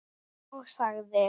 Ég sagði